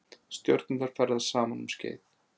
stjörnurnar ferðast saman um skeið